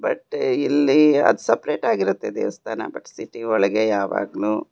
ಮತ್ತೆ ಇಲ್ಲಿ ಅದು ಸಪರೇಟ್ ಆಗಿರುತ್ತದೆ ದೇವಸ್ಥಾನ ಸಿಟಿ ಒಳಗೆ ಯಾವಾಗಲೂ--